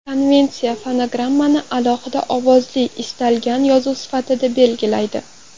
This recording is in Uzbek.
Konvensiya fonogrammani alohida ovozli istalgan yozuv sifatida belgilaydi.